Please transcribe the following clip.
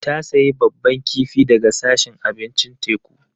Ta sayi babban kifi daga sashin abincin teku.